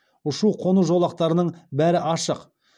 ұшу қону жолақтарының бәрі ашық